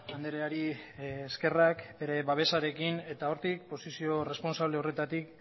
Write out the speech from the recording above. andreari eskerrak bere babesarekin eta hortik posizio erresponsable horretatik